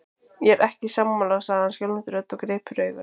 Ég er ekki sammála, sagði hann skjálfandi röddu og greip fyrir augun.